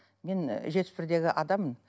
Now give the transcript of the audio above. мен жетпіс бірдегі адаммын